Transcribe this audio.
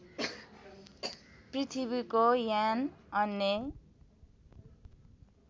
पृथ्वीको यान अन्य